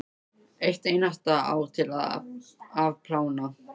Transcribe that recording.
Eitt einasta ár til að afplána.